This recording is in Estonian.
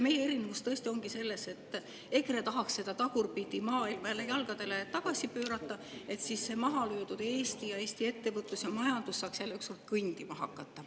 Meie erinevus tõesti ongi see, et EKRE tahaks seda tagurpidi maailma jälle tagasi jalgadele pöörata, et siis mahalöödud Eesti ning Eesti ettevõtlus ja majandus saaks jälle ükskord kõndima hakata.